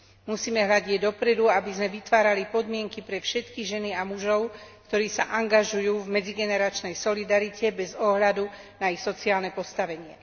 Musíme hľadieť dopredu, aby sme vytvárali podmienky pre všetky ženy a mužov, ktorí sa angažujú v medzigeneračnej solidarite bez ohľadu na ich sociálne postavenie.